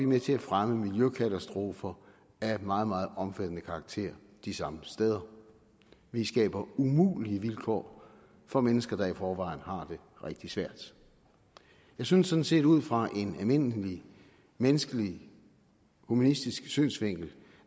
med til at fremme miljøkatastrofer af meget meget omfattende karakter de samme steder vi skaber umulige vilkår for mennesker der i forvejen har det rigtig svært jeg synes sådan set ud fra en almindelig menneskelig humanistisk synsvinkel